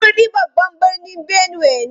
Makurdi babban birnin Benue ne.